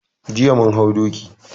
Jiya mun hau doki.